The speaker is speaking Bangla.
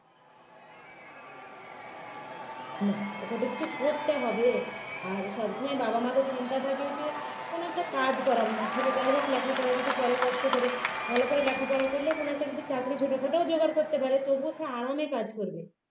না ওকে তো কিছু করতে হবে আর সবসময় বাবা-মায়েদের চিন্তা থাকে যে কোনও একটা কাজ করাবো না ছেলেটা যাই হোক লেখাপড়া যদি করে কষ্ট করে ভাল করে লেখাপড়া করলে কোনো একটা যদি চাকরি ছোটখাটো ও জোগাড় করতে পারে তবুও সে আরামে কাজ করবে